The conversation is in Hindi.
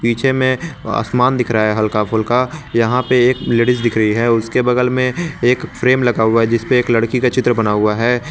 पीछे में आसमान दिख रहा है हल्का फुल्का यहां पर एक लेडिस दिख रही है उसके बगल में एक फ्रेम लगा हुआ है जिसपे एक लड़की का चित्र बना हुआ है।